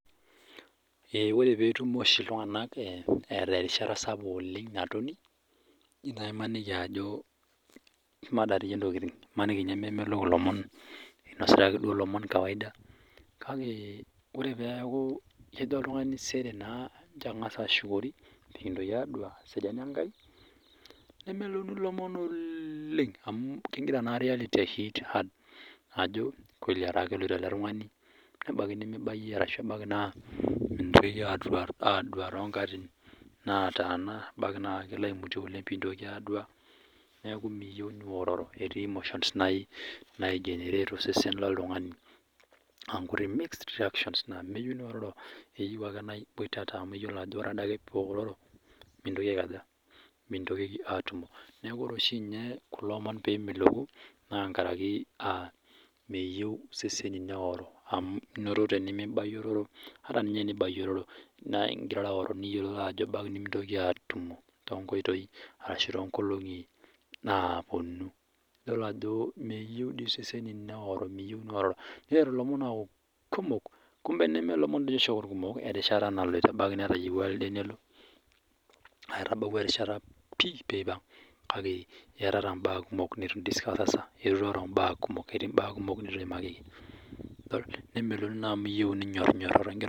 Ee ore perumo ltunganak eeta erishata sapuk natoni nimaniki ajo kemada ntokitin imaniki memelok ilomon meeta faida kake ore peaku kejo oltungani sere angasa ashukori pekingil atumo eseriani enkai nemeloku lomon oleeeeeng amu kingira naa reality i hit hard ajo ataa keloito eletungani na ebaki nimibayie ashu mintokiki adua tonkatitin nataana ebaki na kelo aimutie pingiligili adua neaky niyieu niororo ,ore mixed reactions meyieu niororo keyieu ake na iboitata neyiolo ajo ore adake piororo mintokiki atumo neakubore ade kulo omon pemeloku na tenkaraki meyieu seseni neoro amu ata nyee tenibayiororo ingira mra aoro niyiolo ajo ebaki nimintoki atumo tonkoitoi ashu tonkolongi naponu niteru lomon aaku kumok nemeelomon irkumok erishata naloito aitabawua erishata niroro mbaa kumok nitu iimakiki nemeloku naa amu iyieu ninyorinyoro.